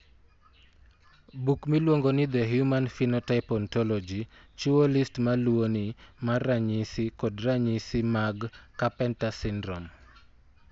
Buk miluongo ni The Human Phenotype Ontology chiwo list ma luwoni mar ranyisi kod ranyisi mag Carpenter syndrome.